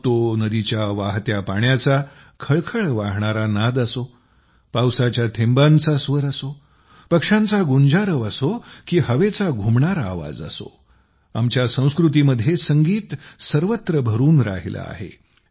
मग तो नदीच्या वाहत्या पाण्याचा झुळुझुळू वाहणारा नाद असो पावसाच्या थेंबांचा स्वर असो पक्ष्यांचा गुंजारव असो की हवेचा घुमणारा आवाज असो आमच्या संस्कृतीमध्ये संगीत सर्वत्र भरून राहिलं आहे